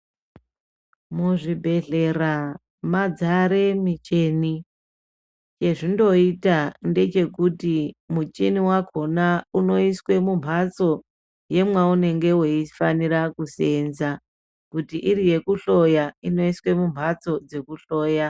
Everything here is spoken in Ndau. Mu zvibhedhlera madzare michini ye zvindo ita nde chekuti muchini wakona uno iswe mu mbatso yemwa unenge wei fanira kusenza kuti iri yeku hloya ino iswe mu mbatso dzeku hloya.